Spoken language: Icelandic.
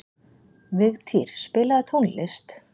Vigtýr, spilaðu tónlist.